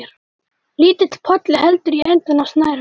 Lítill polli heldur í endann á snærinu.